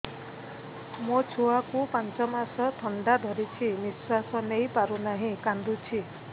ମୋ ଛୁଆକୁ ପାଞ୍ଚ ମାସ ଥଣ୍ଡା ଧରିଛି ନିଶ୍ୱାସ ନେଇ ପାରୁ ନାହିଁ କାଂଦୁଛି